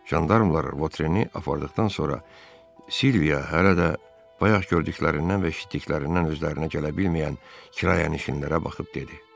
Jandarmalar Votreni apardıqdan sonra Silviya hələ də bayaq gördüklərindən və eşitdiklərindən özlərinə gələ bilməyən kirayənişinlərə baxıb dedi: